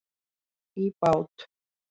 í bát.